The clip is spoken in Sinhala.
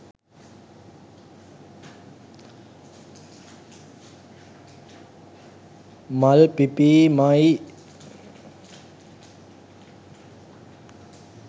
මල් පිපීම යි.